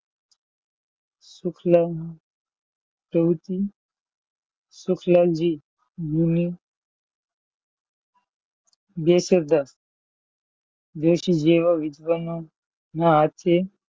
શુક્લા પ્રવૃત્તિ, સુશલાલજી બે સરદાર જેવા વિદ્વાન નાં હાથે,